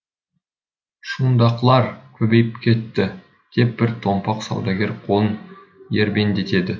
шундақлар көбейіп кетті деп бір томпақ саудагер қолын ербендетеді